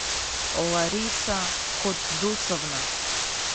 лариса котдусовна